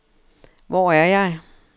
Hvor er jeg